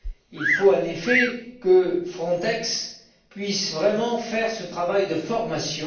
il faut en effet que Frontex puisse vraiment faire ce travail de formation.